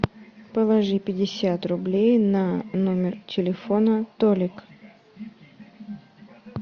положи пятьдесят рублей на номер телефона толик